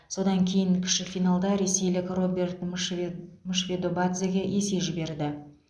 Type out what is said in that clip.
содан кейін кіші финалда ресейлік роберт мшвед мшвидобадзеге есе жіберді